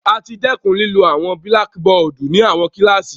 A ti dẹkun lilo awọn blackboardi ni awọn kilasi